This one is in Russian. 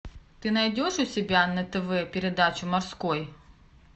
ты найдешь у себя на тв передачу морской